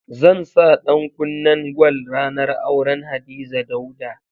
Zan sa ɗankunnen gwal ranar auren Hadiza Dauda.